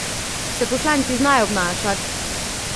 Se poslanci znajo obnašati?